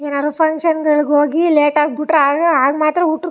ಏನಾರು ಫನ್ಕ್ಷನ್ ಗಳಿಗೆ ಹೋಗಿ ಲೇಟಾಗಿ ಬಿಟ್ರೆ ಆಗ ಆಗ ಮಾತ್ರ ಊಟಕ್ --